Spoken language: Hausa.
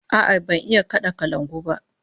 A'a, ban iya kada gangar kalangu ba